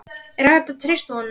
Er hægt að treysta honum?